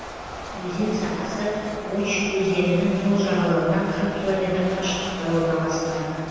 өзен сағасы очь өзенінің сол жағалауынан қырық километр қашықтықта орналасқан